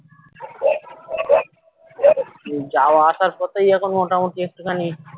যাওয়া আসার পথেই এখন মোটামুটি একটুখানি